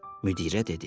Müdirə dedi.